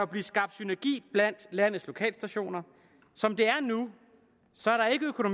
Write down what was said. blive skabt synergi blandt landets lokalstationer som det er nu